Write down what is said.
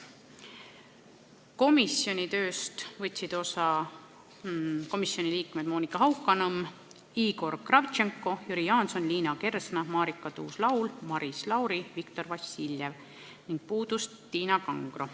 Komisjoni tööst võtsid osa komisjoni liikmed Monika Haukanõmm, Igor Kravtšenko, Jüri Jaanson, Liina Kersna, Marika Tuus-Laul, Maris Lauri ja Viktor Vassiljev, puudus Tiina Kangro.